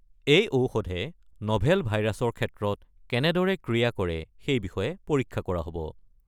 এই ঔষধে নভেল ভাইৰাছৰ ক্ষেত্ৰত কেনেদৰে ক্ৰিয়া কৰে সেইবিষয়ে পৰীক্ষা কৰা হ'ব।